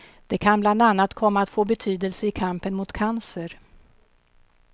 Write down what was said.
Det kan bland annat komma att få betydelse i kampen mot cancer.